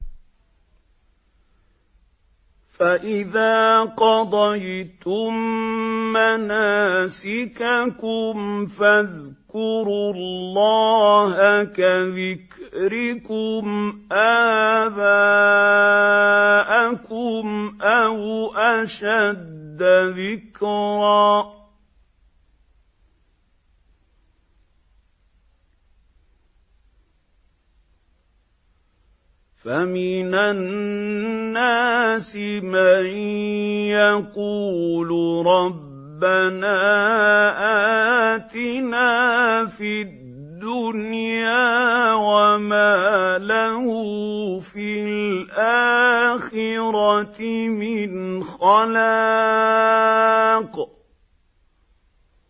فَإِذَا قَضَيْتُم مَّنَاسِكَكُمْ فَاذْكُرُوا اللَّهَ كَذِكْرِكُمْ آبَاءَكُمْ أَوْ أَشَدَّ ذِكْرًا ۗ فَمِنَ النَّاسِ مَن يَقُولُ رَبَّنَا آتِنَا فِي الدُّنْيَا وَمَا لَهُ فِي الْآخِرَةِ مِنْ خَلَاقٍ